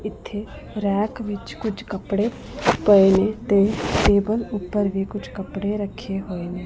ਇਥੇ ਰੈਕ ਵਿੱਚ ਕੁਝ ਕੱਪੜੇ ਪਏ ਨੇ ਤੇ ਟੇਬਲ ਉੱਪਰ ਵੀ ਕੁਝ ਕੱਪੜੇ ਰੱਖੇ ਹੋਏ ਨੇ।